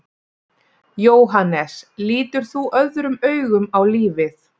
Jóhannes: Lítur þú öðrum augum á lífið?